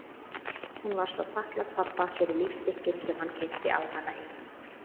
Hún var svo þakklát pabba fyrir lífstykkin sem hann keypti á hana í